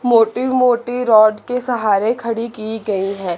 मोटी मोटी रॉड के सहारे खड़ी की गई है।